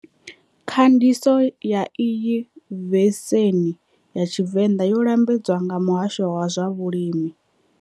Khandiso ya iyi veseni ya Tshivenda yo lambedzwa nga Muhasho wa zwa Vhulimi.